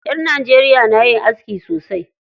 Ƴan Najeriya na yin aski sosai.